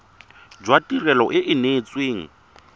jwa tirelo e e neetsweng